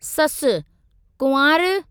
ससुः कुंवारि !